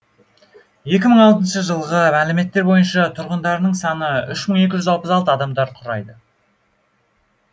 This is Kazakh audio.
екі мың алтыншы жылғы мәліметтер бойынша тұрғындарының саны үш мың екі жүз алпыс алты адамды құрайды